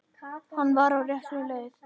Hann var á réttri leið.